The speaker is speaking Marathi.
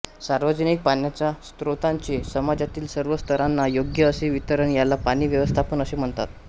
सार्वजनिक पाण्याच्या स्रोतांचे समाजातील सर्व स्तरांना योग्य असे वितरण याला पाणी व्यवस्थापन असे म्हणतात